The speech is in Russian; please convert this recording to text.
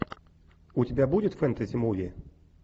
у тебя будет фэнтези муви